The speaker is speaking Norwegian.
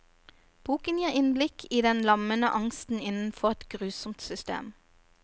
Boken gir innblikk i den lammende angsten innenfor et grusomt system.